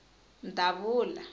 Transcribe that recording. mdavula